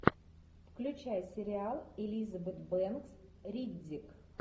включай сериал элизабет бэнкс риддик